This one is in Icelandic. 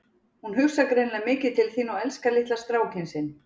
Hún hugsar greinilega mikið til þín og elskar litla strákinn sinn.